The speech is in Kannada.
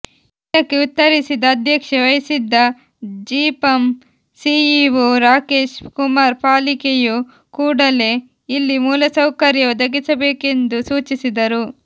ಇದಕ್ಕೆ ಉತ್ತರಿಸಿದ ಅಧ್ಯಕ್ಷತೆ ವಹಿಸಿದ್ದ ಜಿಪಂ ಸಿಇಒ ರಾಕೇಶ್ ಕುಮಾರ್ ಪಾಲಿಕೆಯು ಕೂಡಲೇ ಇಲ್ಲಿ ಮೂಲಸೌಕರ್ಯ ಒದಗಿಸಬೇಕೆಂದು ಸೂಚಿಸಿದರು